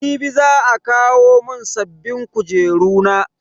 Jibi za a kawo mun sabbin kujeru na.